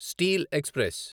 steel express